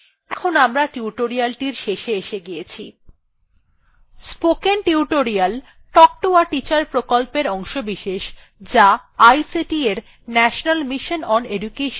এখন আমরা tutorial শেষে এসে গিয়েছি spoken tutorial talk to a teacher প্রকল্পের অংশবিশেষ যা ict এর national mission on education দ্বারা সমর্থিত